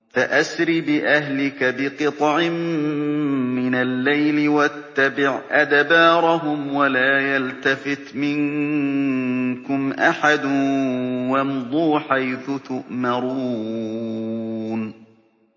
فَأَسْرِ بِأَهْلِكَ بِقِطْعٍ مِّنَ اللَّيْلِ وَاتَّبِعْ أَدْبَارَهُمْ وَلَا يَلْتَفِتْ مِنكُمْ أَحَدٌ وَامْضُوا حَيْثُ تُؤْمَرُونَ